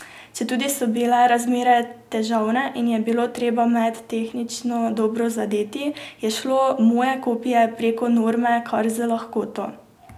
Četudi so bile razmere težavne in je bilo treba met tehnično dobro zadeti, je šlo moje kopje prek norme kar z lahkoto.